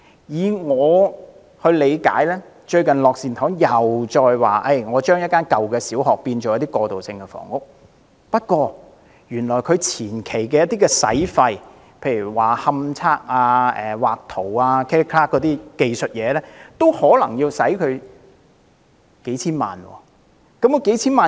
以我理解，樂善堂最近提出將一所舊小學改建為過渡性房屋，但當中有些前期費用，例如勘測和繪圖等技術工作，可能已經要花費數千萬元。